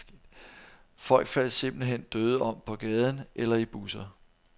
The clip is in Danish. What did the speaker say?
Folk faldt simpelt hen døde om på gaden eller i busser.